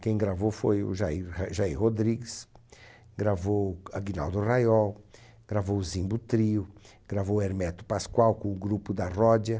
Quem gravou foi o Jair Ra Jair Rodrigues, gravou Aguinaldo Rayol, gravou o Zimbo Trio, gravou o Hermeto Pascoal com o grupo da Rhodia.